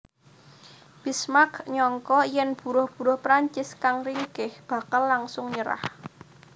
Bismarck nyangka yèn buruh buruh Prancis kang ringkéh bakal langsung nyerah